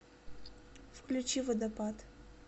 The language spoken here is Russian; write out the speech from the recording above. включи водопад